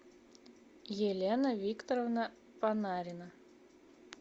елена викторовна панарина